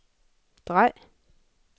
drej